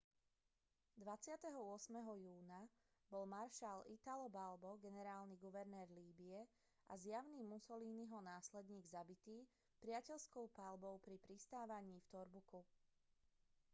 28. júna bol maršal italo balbo generálny guvernér líbye a zjavný mussoliniho následník zabitý priateľskou paľbou pri pristávaní v tobruku